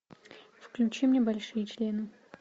включи мне большие члены